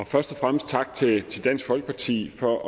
først og fremmest tak til til dansk folkeparti for